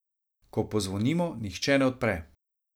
Ko pozvonimo, nihče ne odpre.